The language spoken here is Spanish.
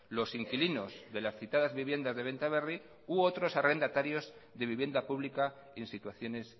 los inquilinos de las citadas viviendas de benta berri u otros arrendatarios de vivienda pública en situaciones